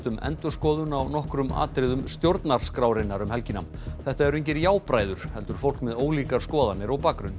um endurskoðun á nokkrum atriðum stjórnarskrárinnar um helgina þetta eru engir heldur fólk með ólíkar skoðanir og bakgrunn